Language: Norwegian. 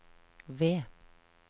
V